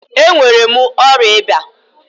Ee enwere mụ ọrịa ịba.